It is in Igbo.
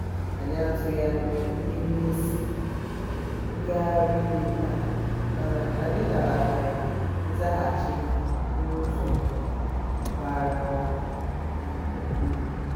anyị atụghị anya ihe ngosi ngagharị iwe taa mana anyị nabatara nzaghachi ha n’ụzọ bara um uru.